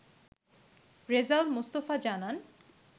রেজাউল মোস্তফা জানান